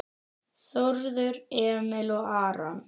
Þórður Emil og Aron